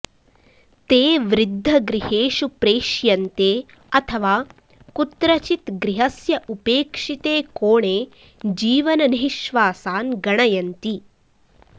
ते वृद्धगृहेषु प्रेष्यन्ते अथवा कुत्रचित् गृहस्य उपेक्षिते कोणे जीवननिःश्वासान् गणयन्ति